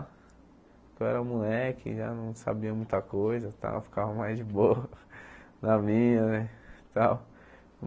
Eu era moleque, já não sabia muita coisa e tal, ficava mais de boa na minha, né e tal?